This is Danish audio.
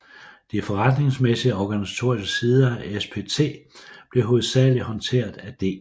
De forretningsmæssige og organisatoriske sider af SPT blev hovedsageligt håndteret af D